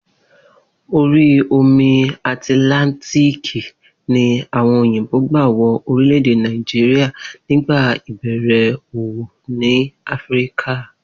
Orí omi Àtìláńtíìkì ni àwo̩n òyìnbò gbà wo̩ orílè̩-èdè Nàìjíríà nígbà ìbè̩rè̩ òwò ní Áfíríkà